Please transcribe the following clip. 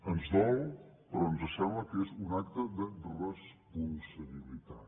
ens dol però ens sembla que és un acte de responsabilitat